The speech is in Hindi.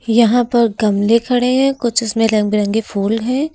यहां पर गमले खड़े हैं कुछ उसमें कुछ इसमे रंग बिरंगे फूल हैं।